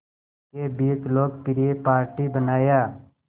के बीच लोकप्रिय पार्टी बनाया